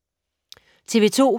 TV 2